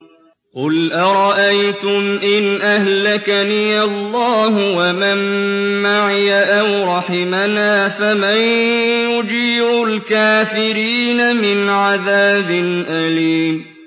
قُلْ أَرَأَيْتُمْ إِنْ أَهْلَكَنِيَ اللَّهُ وَمَن مَّعِيَ أَوْ رَحِمَنَا فَمَن يُجِيرُ الْكَافِرِينَ مِنْ عَذَابٍ أَلِيمٍ